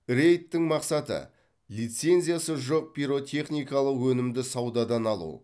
рейдтің мақсаты лицензиясы жоқ пиротехникалық өнімді саудадан алу